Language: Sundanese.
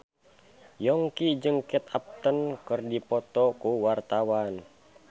Yongki jeung Kate Upton keur dipoto ku wartawan